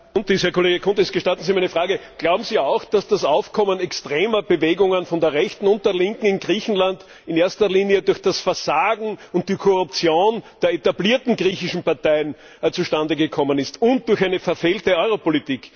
Herr Kollege Chountis, gestatten Sie mir eine Frage Glauben Sie auch, dass das Aufkommen extremer Bewegungen von der Rechten und der Linken in Griechenland in erster Linie durch das Versagen und die Korruption der etablierten griechischen Parteien zustande gekommen ist und durch eine verfehlte Europolitik?